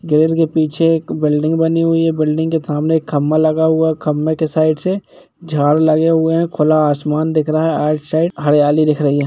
बेर के पीछे एक बिल्डिंग बनी हुई हैं बिल्डिंग के सामने एक खंबा लगा हुआ हैं खंबे के साइड से झाड लगे हुये हैं खुला आसमान धिक रहा हैं आउट साइड हरियाली दिख रही हैं ।